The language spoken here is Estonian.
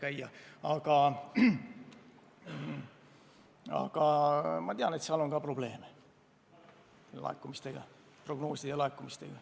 Aga ma tean, et nendegi aktsiiside puhul on probleeme laekumise ja prognoosidega.